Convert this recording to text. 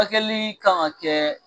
kɛli kan ŋa kɛ